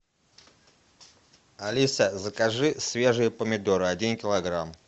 алиса закажи свежие помидоры один килограмм